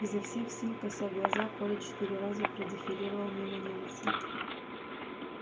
изо всех сил кося глаза коля четыре раза продефилировал мимо немца